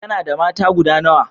kana da mata guda nawa?